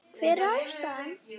Hver er ástæðan?